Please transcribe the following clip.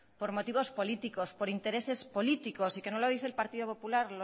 por motivos políticos por intereses políticos y que no lo dice el partido popular